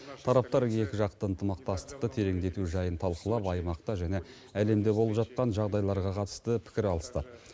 тараптар екіжақты ынтымақтастықты тереңдету жайын талқылап аймақта және әлемде болып жатқан жағдайларға қатысты пікір алысты